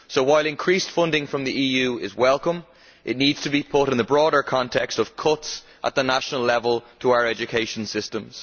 So while increased funding from the EU is welcome, it needs to be put in the broader context of cuts at the national level to our education systems.